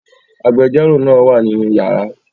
Agbẹjọ́rò náà wà nínú yàrá